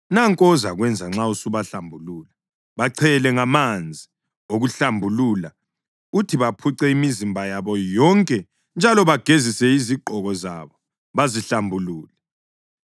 Nanku ozakwenza nxa usubahlambulula: Bachele ngamanzi okuhlambulula, uthi baphuce imizimba yabo yonke njalo bagezise izigqoko zabo, bazihlambulule.